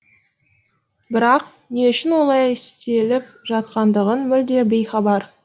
бірақ не үшін олай істеліп жатқандығын мүлде бейхабар